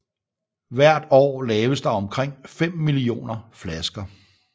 Hvert år laves der omkring fem millioner flasker